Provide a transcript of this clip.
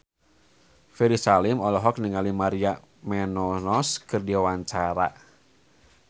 Ferry Salim olohok ningali Maria Menounos keur diwawancara